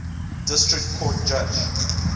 district court judge